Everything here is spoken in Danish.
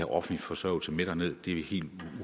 offentlig forsørgelse med derned det er helt